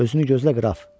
Özünü gözlə, qraf.